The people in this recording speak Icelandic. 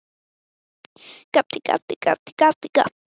Hvað ætlar þú að gera skemmtilegt í dag?